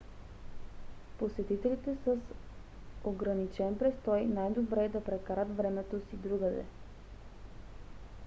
посетителите с ограничен престой най-добре да прекарат времето си другаде